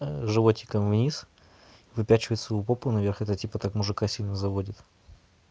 животиком вниз выпячивает свою попу наверх это типа так мужика сильно заводит